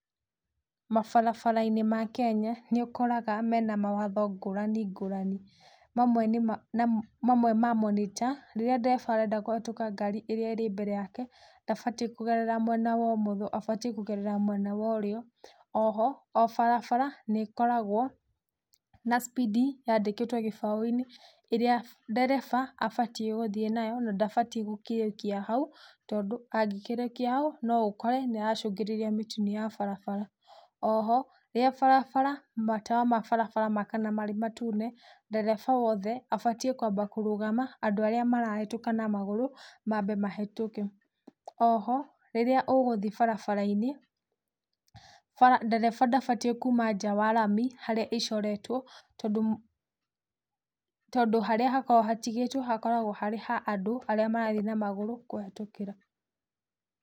Mabarabara-inĩ ma Kenya nĩ ũkoraga mena mawatho ngũrani ngũrani. Mamwe mamo nĩ ta, rĩrĩa ndereba arenda kũhĩtũka ngari ĩrĩa ĩrĩ mbere yake ndabatiĩ kũgerera mwena wa ũmotho abatiĩ kũgerera mwena wa ũrĩo. O ho o barabara nĩ ĩkoragũo na cibindi yandĩkĩtwo gĩbaũ-inĩ ĩrĩa ndereba abatiĩ gũthiĩ nayo na ndabatiĩ gũkiũkia hau tondũ angĩkiũkia hau no ũkore nĩaracũgĩrĩria mĩtino ya barabara. O ho rĩrĩa barabara, matawa ma barabara maakana marĩ matune, ndereba o wothe abatiĩ kwamba kũrũgama andũ arĩa marahĩtũka na magũrũ mambe mahĩtũke. O ho, rĩrĩa ũgũthiĩ barabara-inĩ, ndereba ndabatiĩ kuuma nja wa rami harĩa ĩcoretũo tondũ, tondũ harĩa hakoragũo hatĩgĩtũo hakoragũo harĩ ha andũ arĩa marathiĩ na magũrũ kũhĩtũkĩra.